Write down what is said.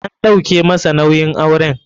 An ɗauke masa nauyin auren.